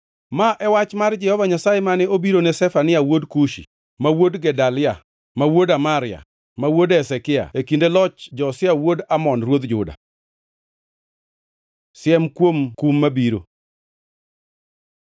Ma e wach mar Jehova Nyasaye mane obiro ne Zefania wuod Kushi, ma wuod Gedalia, ma wuod Amaria, ma wuod Hezekia e kinde loch Josia wuod Amon ruodh Juda. Siem kuom kum mabiro